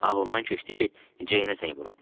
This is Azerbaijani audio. Ağlımdan keçdi ki, Jeyne zəng vurum.